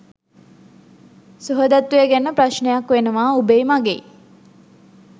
සුහදත්වය ගැන ප්‍රශ්නයක් වෙනවා උබෙයි මගෙයි .